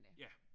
Ja